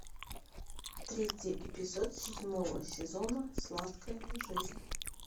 третий эпизод седьмого сезона сладкая жизнь